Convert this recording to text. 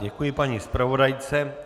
Děkuji paní zpravodajce.